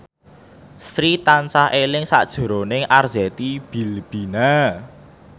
Sri tansah eling sakjroning Arzetti Bilbina